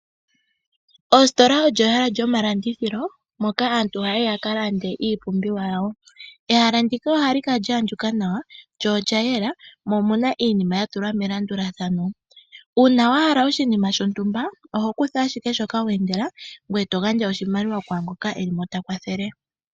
Ositola olyo ehala lyomalandithilo moka aantu haya yi ya ka lande iipumbiwa yawo. Ehala ndika ohali kala lya andjuka nawa lyo oya yela mo omuna iinima ya tulwa melandulathano. Uuna wa hala oshinima shontumba, oho kutha ashike shoka we endela ngoye to gandja oshimaliwa kwaangoka e li mo ta kwathele.